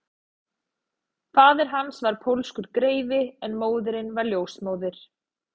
Faðir hans var pólskur greifi en móðirin var ljósmóðir